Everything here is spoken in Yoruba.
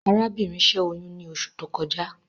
Arábìnrin ṣẹ́ oyún ní oṣù tó kọjá